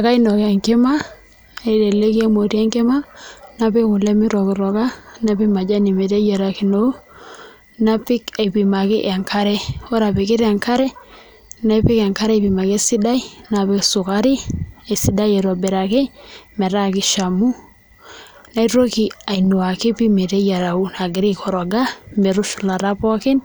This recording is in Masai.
Ekainok enkima peyie aiteleki emoti enkima napik kule mitokitoka napik majani meteyiarakino napik aipimaki enkare ore apikita enkare napik enkare aipimaki esidai napik sukari esidai aitobiraki metaa mishamu naitoki ainuaki pii meteyiaraki aikoroga metushulata pookin